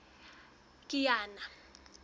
kiana